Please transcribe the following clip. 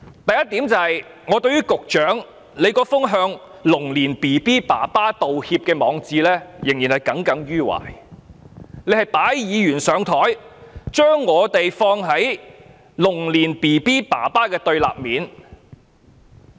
第一，我對於局長那篇"向龍年嬰兒父親道歉"的網誌仍然耿耿於懷，他是擺議員"上檯"，把我們放在龍年嬰兒父親的對立面。